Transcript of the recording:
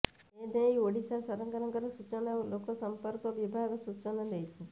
ଏ ନେଇ ଓଡ଼ିଶା ସରକାରଙ୍କର ସୂଚନା ଓ ଲୋକ ସମ୍ପର୍କ ବିଭାଗ ସୂଚନା ଦେଇଛି